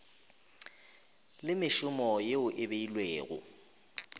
le mešomo yeo e beilwego